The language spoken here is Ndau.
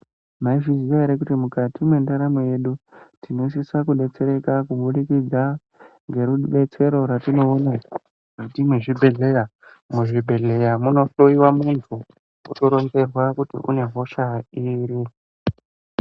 Maizviziya ere kuti mukati mwendaramo yedu tinosisa kudetsereka kubudikidza ngerudetsero rwetinoona mukati mwezvibhedhleya? Muzvibhedhleya munohloyiwa muntu otoronzerwa kuti une hosha iri.